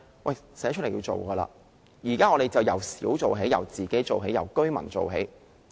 我們現在就由小做起，由自己做起，由居民做起。